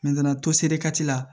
la